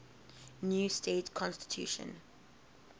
new state constitution